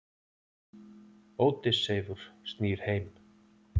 Ódysseifur snýr heim.